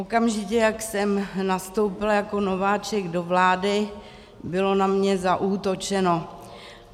Okamžitě, jak jsem nastoupila jako nováček do vlády, bylo na mě zaútočeno.